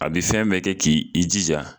A bɛ fɛn bɛɛ kɛ k'i i jija